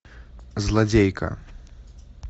злодейка